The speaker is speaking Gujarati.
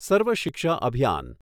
સર્વ શિક્ષા અભિયાન